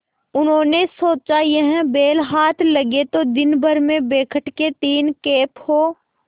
उन्होंने सोचा यह बैल हाथ लगे तो दिनभर में बेखटके तीन खेप हों